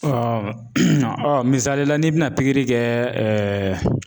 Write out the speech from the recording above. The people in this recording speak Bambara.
misali la n'i bɛna pikiri kɛ